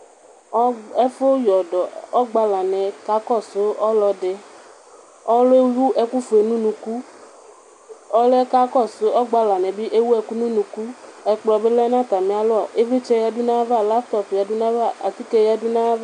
ɛfu yɔdɔ ɔgbalaniɛ ka kɔso ɔlɔdi ɔloɛ ewu ɛkofue no unuku ɔloɛ ka kɔsoɛ ɔgbalaniɛ bi ewu ɛkò no unuku ɛkplɔ bi lɛ no atamialɔ ivlitsɛ yadu n'ava laptɔp bi yadu n'ava atike yadu n'ava